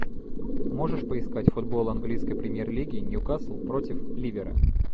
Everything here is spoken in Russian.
можешь поискать футбол английской премьер лиги ньюкасл против ливера